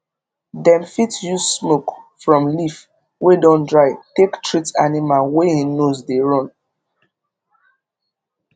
dem fit use smoke from leaf wey don dry take treat animal wey hin nose dey run